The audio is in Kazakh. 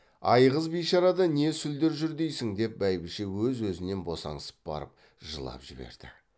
айғыз бишарада не сүлдер жүр дейсің деп бәйбіше өз өзінен босаңсып барып жылап жіберді